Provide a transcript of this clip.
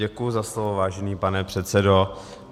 Děkuji za slovo, vážený pane předsedo.